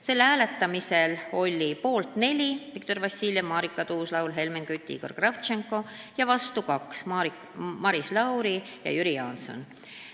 Selle hääletamisel oli poolt neli inimest: Viktor Vassiljev, Marika Tuus-Laul, Helmen Kütt, Igor Kravtšenko ja vastu kaks: Maris Lauri ja Jüri Jaanson.